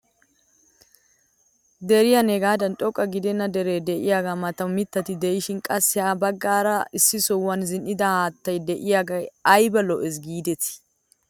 Darin heegaadan xoqqa gidenna deree de'iyaagaa matan mittati de'ishin qassi ha baggaara issi sohuwaan zin"ida haattay de'iyaagee ayba lo"ees gidetii!